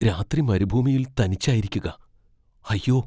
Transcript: രാത്രി മരുഭൂമിയിൽ തനിച്ചായിരിക്കുക, അയ്യോ.